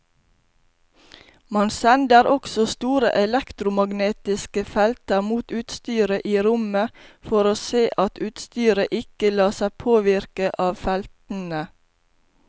Man sender også store elektromagnetiske felter mot utstyret i rommet for å se at utstyret ikke lar seg påvirke av feltene.